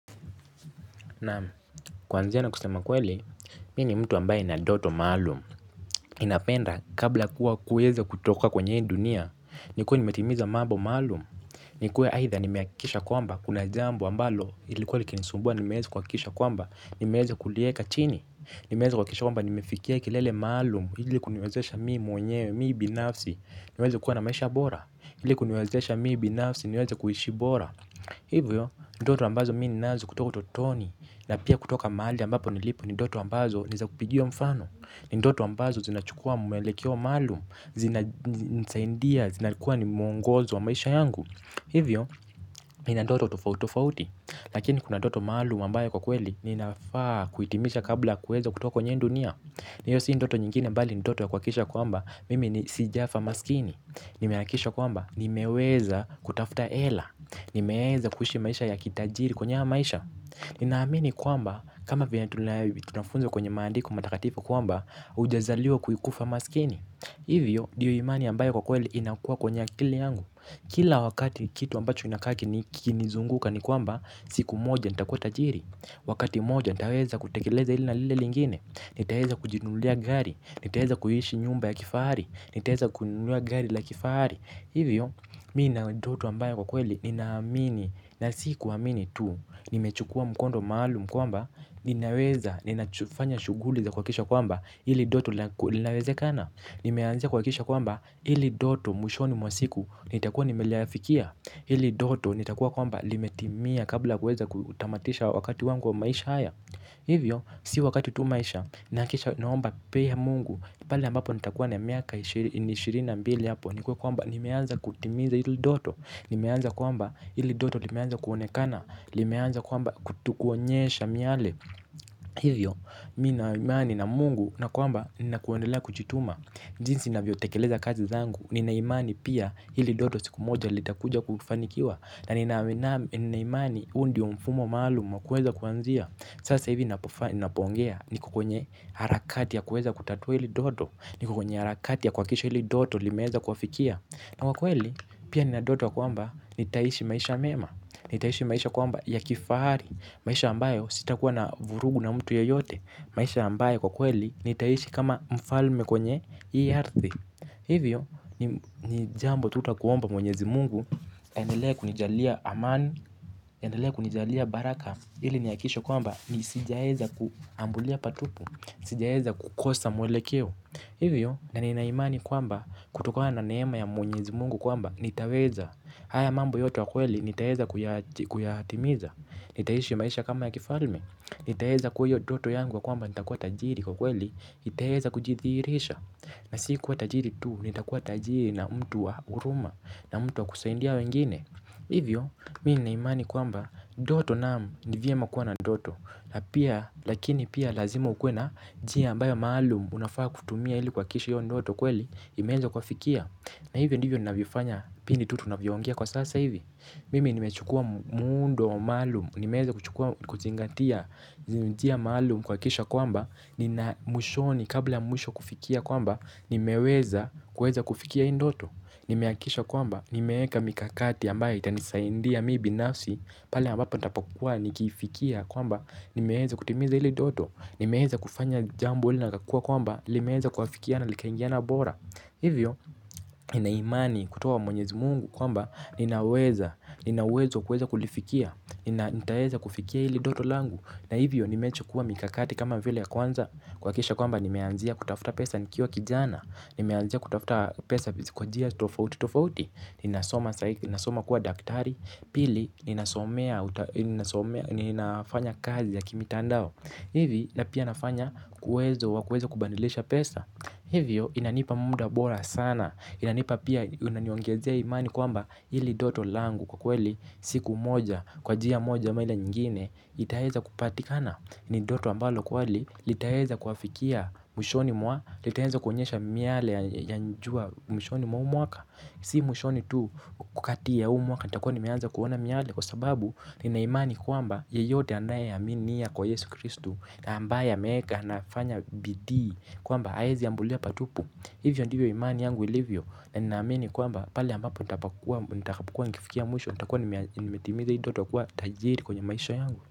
Naam. Kuanzia na kusema ukweli mi ni mtu ambaye nina ndoto maalum. Ninapenda kabla kuwa kuweza kutoka kwenye hii dunia nikuwe nimetimiza mambo maalum. Nikuwe aidha nimehakikisha kwamba kuna jambo ambalo ilikuwa likinisumbua nimeweza kuhakisha kwamba nimeweza kulieka chini. Nimeweza kuhakikisha kwamba nimefikia kilele maalum ili kuniwezesha mi mwenyewe mi binafsi niweze kuwa na maisha bora ili kuniwezesha mi binafsi niweze kuishi bora. Hivyo, ni ndoto ambazo mi ninazo kutoka utotoni na pia kutoka mahali ambapo nilipo ni ndoto ambazo ni za kupigiwa mfano. Ni ndoto ambazo zinachukua mwelekeo maalum. Zinanisaidia, zinakua ni mwongozo wa maisha yangu. Hivyo, nina ndoto tofautitofauti. Lakini kuna ndoto maalum ambayo kwa kweli ninafaa kuitimisha kabla kueza kutoka kwenye hii dunia. Hiyo si ndoto nyingine bali ni ndoto ya kuhakisha kwamba mimi ni sijafa maskini. Nimehakisha kwamba, nimeweza kutafuta hela. Nimeeza kuishi maisha ya kitajiri kwenye haya maisha. Ninaamini kwamba kama vyenye tunafunzwa kwenye maandiko matakatifu kwamba hujazaliwa kufa maskini. Hivyo ndiyo imani ambayo kwa kweli inakua kwenye akili yangu. Kila wakati kitu ambacho kinakaa kikinizunguka ni kwamba siku moja nitakua tajiri. Wakati mmoja nitaweza kutekeleza hili na lile lingine. Nitaweza kujinunulia gari. Nitaweza kuishi nyumba ya kifahari. Nitaweza kununua gari la kifahari. Hivyo, mi nina ndoto ambayo kwa kweli, ninaamini, na si kuamini tu, nimechukua mkondo maalum kwamba, ninaweza, ninafanya shughuli za kuhakisha kwamba, hili ndoto linawezekana, nimeanzia kuhakisha kwamba, hili ndoto mwishoni mwa siku, nitakuwa nimeliafikia, hili ndoto nitakuwa kwamba, limetimia kabla ya kuweza kutamatisha wakati wangu wa maisha haya. Hivyo si wakati tu maisha nahakikisha naomba pia mungu. Pale ambapo nitakuwa na miaka ishirini na mbili hapo nikuwe kwamba nimeanza kutimiza hili ndoto. Nimeanza kwamba hili ndoto limeanza kuonekana. Limeanza kwamba kuonyesha miale. Hivyo mi nina imani na mungu na kwamba nina kuendelea kujituma. Jinsi ninavyotekeleza kazi zangu nina imani pia hili ndoto siku moja litakuja kufanikiwa. Na nina imani huu ndio mfumo maalum wa kueza kuanzia. Sasa hivi ninapoongea niko kwenye harakati ya kuweza kutatua hili ndoto. Niko kwenye harakati ya kuhakikisha hili ndoto limeweza kuafikia na kwa kweli pia nina ndoto kwamba nitaishi maisha mema. Nitaishi maisha kwamba ya kifahari. Maisha ambayo sitakuwa na vurugu na mtu yeyote maisha ambayo kwa kweli nitaishi kama mfalme kwenye hii ardhi. Hivyo ni jambo tutakuomba mwenyezi mungu endelea kunijalia amani, endelea kunijalia baraka, ili nihakikishe kwamba ni sijaeza kuambulia patupu, sijaeza kukosa mwelekeo, hivyo na nina imani kwamba kutokana na neema ya mwenyezi mungu kwamba nitaweza, haya mambo yote kwa kweli nitaeza kuyatimiza, nitaishi maisha kama ya kifalme, nitaeza kuwa hiyo ndoto yangu ya kwamba nitakuwa tajiri kwa kweli itaweza kujidhihirisha, na si kuwa tajiri tuu, nitakua tajiri na mtu wa huruma, na mtu wa kusaidia wengine, hivyo, mimi nina imani kwamba, ndoto naam ni vyema kuwa na ndoto. Lakini pia lazima ukuwe na njia ambayo maalum unafaa kutumia ili kuhakisha hiyo ndoto kweli imeeza kuafikia. Na hivyo ndivyo ninavyofanya pindi tu tunavyoongea kwa sasa hivi. Mimi nimechukua muundo maalum, nimeeza kuchukua kuzingatia. Njia maalum kuhakisha kwamba, nina mwishoni kabla mwisho kufikia kwamba nimeweza kuweza kufikia hii ndoto. Nimehakisha kwamba, nimeeka mikakati ambaye itanisaindia mi binafsi. Pale ambapo nitakapokua nikifikia kwamba, nimeeza kutimiza ile ndoto. Nimeweza kufanya jambo lile litakua kwamba, limeeza kuafikia na likaingiana bora. Hivyo, nina imani kutoka kwa mwenyezi mungu kwamba, ninaweza, nina uwezo kuweza kulifikia hili ndoto langu. Na hivyo, nimechukua mikakati kama vile ya kwanza kuhakisha kwamba, nimeanzia kutafuta pesa nikiwa kijana. Nimeanzia kutafuta pesa kwa njia tofautitofauti. Ninasoma kuwa daktari. Pili ninasomea. Ninafanya kazi ya kimitandao. Hivi na pia nafanya uwezo wa kuweza kubadilisha pesa. Hivyo inanipa muda bora sana. Inanipa pia inaniongezea imani kwamba hili ndoto langu kwa kweli siku moja. Kwa njia moja ama ile nyingine. Itaweza kupatikana. Ni ndoto ambalo kweli litaweza kuafikia mwishoni mwa litaeza kuonyesha miale ya jua mwishoni mwa mwaka si mwishoni tu wakati ya huu mwaka. Nitakuwa nimeanza kuona miale kwa sababu nina imani kwamba yeyote anayeaminia kwa Yesu Kristu Na ambaye ameeka anafanya bidii kwamba haezi ambulia patupu. Hivyo ndivyo imani yangu ilivyo. Ninaamini kwamba pale ambapo nitakapokua nikifikia mwisho nitakuwa nimetimiza hi ndoto ya kuwa tajiri kwenye maisha yangu.